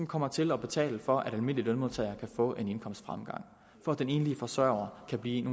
kommer til at betale for at almindelige lønmodtagere kan få en indkomstfremgang og at den enlige forsørger kan blive en